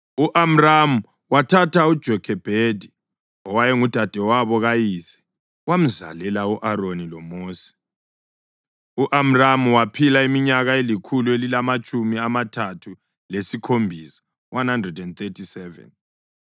U-Amramu wathatha uJokhebhedi owayengudadewabo kayise. Wamzalela u-Aroni loMosi. U-Amramu waphila iminyaka elikhulu elilamatshumi amathathu lesikhombisa (137).